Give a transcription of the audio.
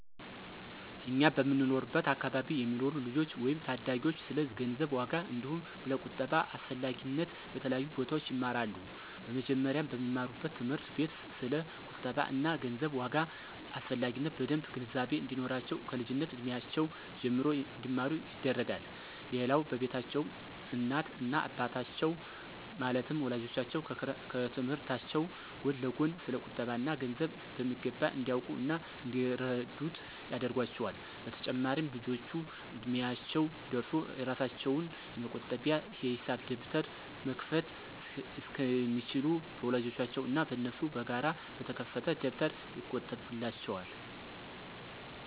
እኛ በምንኖርበት አከባቢ የሚኖሩ ልጆች ወይም ታዳጊዎች ስለ ገንዘብ ዋጋ አንዲሁም ስለ ቁጠባ አስፈላጊነት በተለያዩ ቦታዎች ይማራሉ። በመጀመሪያም በሚማሩበት ትምህርት ቤት ስለ ቁጠባ እና ገንዘብ ዋጋ አስፈላጊነት በደምብ ግንዛቤ እንዲኖራቸው ከልጅነት እድሜያቸው ጀምሮ እንዲማሩ ይደረጋል። ሌላው በቤታቸውም እናት እና አባቶቻቸው ማለትም ወላጆቻቸው ከትምህርታቸው ጎን ለጎን ስለ ቁጠባ እና ገንዘብ በሚገባ እንዲያውቁ እና እንዲረዱት ያደርጓቸዋል። በተጨማሪም ልጆቹ እድሚያቸው ደርሶ የራሳቸውን የመቆጠቢያ የሂሳብ ደብተር መክፈት እስኪችሉ በወላጆቻቸው እና በነሱ በጋራ በተከፈተ ደብተር ይቆጥቡላቸዋል።